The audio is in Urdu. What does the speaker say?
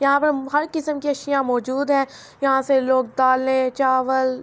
ےاحان پر(پع) حار کیسام کی اسحیےا ماءجءد حای ےاحان سع لہگ دالعے چحاوال--.